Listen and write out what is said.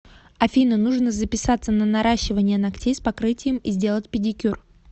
афина нужно записаться на наращивание ногтей с покрытием и сделать педикюр